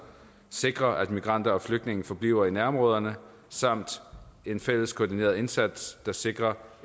sikre at migranter og flygtninge forbliver i nærområderne samt en fælles koordineret indsats der sikrer